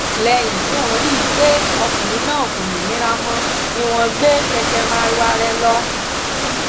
lẹyìn tí wọn rí i pé ọkùnrin náà kò lè mira mọ ni wọn gbé kẹkẹ marwa rẹ lọ